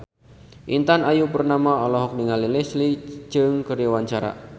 Intan Ayu Purnama olohok ningali Leslie Cheung keur diwawancara